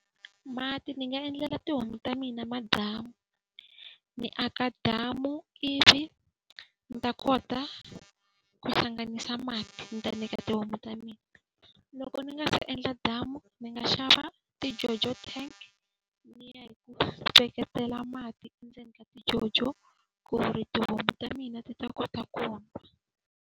Mati ni nga endlela tihomu ta mina madamu. Ni aka damu ivi ni ta kota ku hlanganisa mati ni ta nyika tihomu ta mina. Loko ndzi nga se endla damu ndzi nga xava tijojo tank ni ya hi ku hlengetela mati endzeni ka tijojo ku ri tihomu ta mina ti ta kota ku .